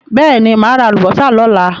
Bẹ́ẹ̀ ni, máa ra àlùbọ́sà lọ́la.